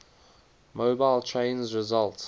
mobile trains result